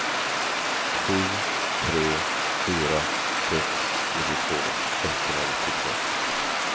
sju tre fyra sex nittiotvå etthundranittiotvå